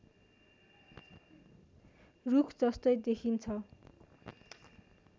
रुखजस्तै देखिन्छ